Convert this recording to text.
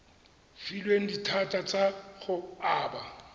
filweng dithata tsa go aba